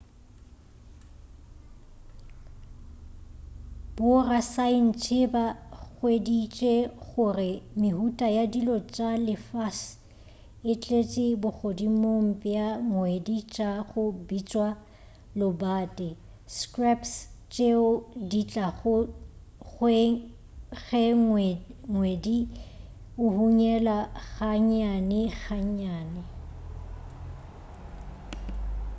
borasaentsheba hweditše gore mehuta ya dilo tša lefase e tleše bogodimong bja ngwedi tša go bitšwa lobate scraps tšeo di tlago ge ngwedi o hunyela ga nnyane ga nnyane